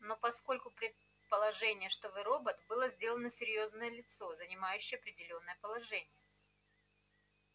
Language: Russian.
но поскольку предположение что вы робот было сделано серьезноё лицо занимающее определённое положение